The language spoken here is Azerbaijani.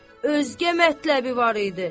Özgə mətləbi var idi.